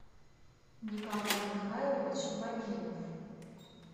николай михайлович багинов